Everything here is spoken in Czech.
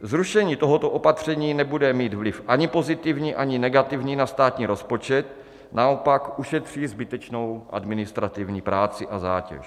Zrušení tohoto opatření nebude mít vliv ani pozitivní, ani negativní na státní rozpočet, naopak ušetří zbytečnou administrativní práci a zátěž.